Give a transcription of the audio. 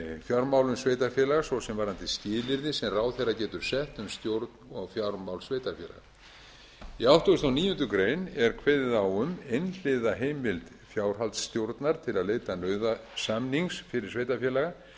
fjármálum sveitarfélaga svo sem varðandi skilyrði sem ráðherra getur sett um stjórn og fjármál sveitarfélags í áttugasta og níundu grein er kveðið á um einhliða heimild fjárhaldsstjórnar til að leita nauðasamnings fyrri sveitarfélaga enda